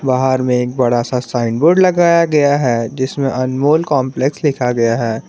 बाहर में एक बड़ा सा साइन बोर्ड लगाया गया है जिसमें अनमोल कॉम्प्लेक्स लिखा गया है।